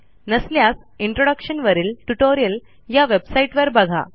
नसल्यास इंट्रोडक्शन वरील ट्युटोरियल या वेबसाईटवर बघा